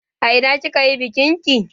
A ina kika yi bikin ki?